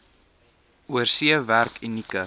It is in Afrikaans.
oorsee werk unieke